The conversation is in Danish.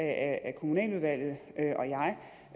at kommunaludvalget